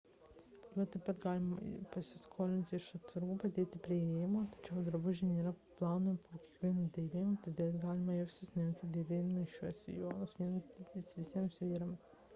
juos taip pat galima pasiskolinti iš atsargų padėtų prie įėjimo tačiau drabužiai nėra plaunami po kiekvieno dėvėjimo todėl galite jaustis nejaukiai dėvėdamos šiuos sijonus vienas dydis visiems vyrams